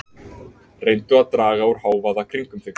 Reyndu að draga úr hávaða kringum þig.